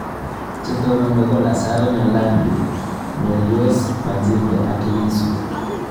Che tononi ko Lasaro Nyalandu, Mayrose Majinge ak Lissu